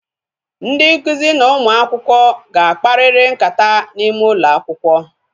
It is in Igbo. Ndị nkụzi na ụmụ akwụkwọ ga akpariri nkata n'ime ụlọ akwụkwọ